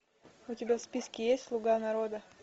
у тебя в списке есть слуга народа